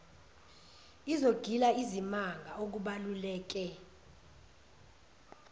izogila izimanga okubaluleke